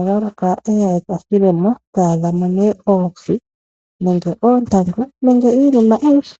eye eyihikemo eta adhamo oohi, oontangu nenge iinima ayihe.